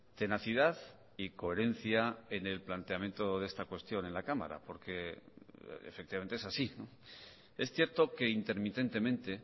tenacidad y coherencia en el planteamiento de esta cuestión en la cámara por que efectivamente es así es cierto que intermitentemente